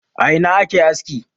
A Ina ake aski?